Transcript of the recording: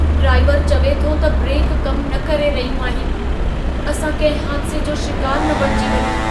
ड्राइवरु चवे थो त ब्रेक कम न करे रहियूं आहिनि। असां कंहिं हादिसे जो शिकारु न बणिजी वञूं।